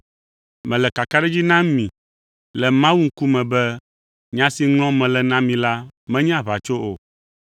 Mele kakaɖedzi nam mi le Mawu ŋkume be nya si ŋlɔm mele na mi la menye aʋatso o.